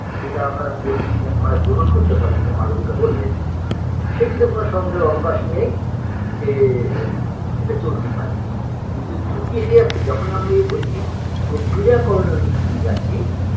যেটা আমরা বলছি যে আমরা গ্রহণ করতে পারি যেটা মালোবিকা বললেন সেটিতে কোনো সন্দেহর অবকাশ নেই যে এটা চলতেই পারে কিন্তু ঝুঁকি এড়িয়ে যাচ্ছে যখন আমরা ঐটি প্রক্রিয়াকরণের মধ্য দিয়ে যাচ্ছি